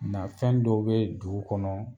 Na fɛn dɔ bɛ dugu kɔnɔ